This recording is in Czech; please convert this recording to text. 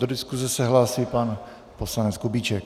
Do diskuse se hlásí pan poslanec Kubíček.